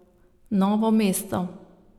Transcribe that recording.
Novo mesto.